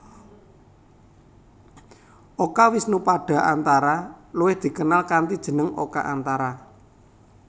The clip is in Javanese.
Oka Wisnupada Antara luwih dikenal kanthi jeneng Oka Antara